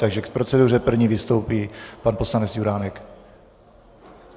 Takže k proceduře první vystoupí pan poslanec Juránek.